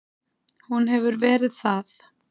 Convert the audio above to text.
Hún hefur verið það.